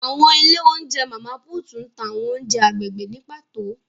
Awọn ile ounjẹ Mama Puutu ǹ ta awọn ounjẹ agbegbe ni pato.